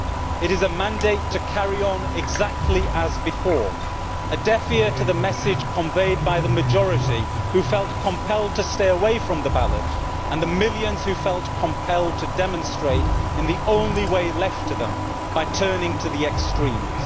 It is a mandate to carry on exactly as before, a deaf ear to the message conveyed by the majority who felt compelled to stay away from the ballot and the millions who felt compelled to demonstrate in the only way left to them by turning to the extremes.